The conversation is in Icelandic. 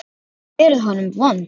Ég hef verið honum vond.